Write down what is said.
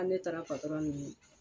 Ko ne taara patɔrɔn nini